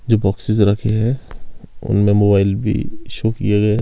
जो बॉक्सेस रखे हैं उनमें मोबाइल भी शो किए गए हैं।